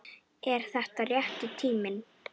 Er þetta rétti tíminn?